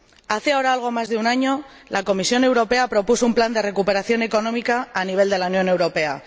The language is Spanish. Hace ahora algo más de un año, la Comisión Europea propuso un plan de recuperación económica para la Unión Europea.